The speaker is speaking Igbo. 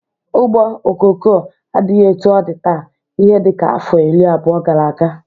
Ugbo ọkụkọ adịghị etu ọ dị taa ihe dịka afọ iri abụo gara aga.